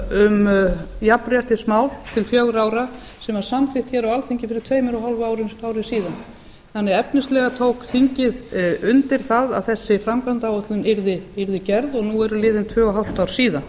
um jafnréttismál til fjögurra ára sem var samþykkt á alþingi fyrir tveimur og hálfu ári síðan þannig að efnislega tók þingið undir það að þessi framkvæmdaáætlun yrði gerð og nú eru liðin tvö og hálft ár síðan